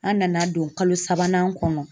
An nana don kalo sabanan kɔnɔ.